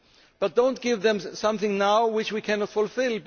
But do not give them something now which we cannot fulfil.